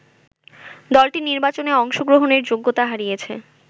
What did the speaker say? দলটি নির্বাচনে অংশগ্রহণের যোগ্যতা হারিয়েছে